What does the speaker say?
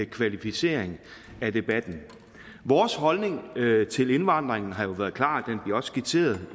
kvalificering af debatten vores holdning til indvandring har jo været klar og den bliver skitseret